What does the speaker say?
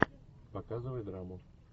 показывай драму